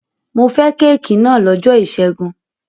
Mo fẹ́ kéékì náà lọ́jọ́ ìṣẹ́gun.